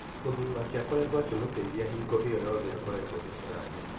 Mũthuri wake akoretwo akĩmũteithia hingo ĩyo yothe akoretwo thibitarĩ.